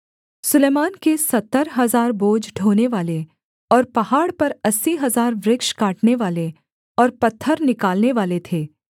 सुलैमान के सत्तर हजार बोझ ढोनेवाले और पहाड़ पर अस्सी हजार वृक्ष काटनेवाले और पत्थर निकालनेवाले थे